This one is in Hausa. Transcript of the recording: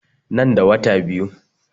Nan da wata biyu